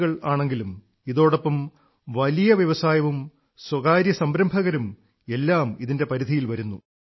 E കൾ ആണെങ്കിലും ഇതോടൊപ്പം വലിയ വ്യവസായവും സ്വകാര്യ സംരംഭകരും എല്ലാം ഇതിന്റെ പരിധിയിൽ വരുന്നു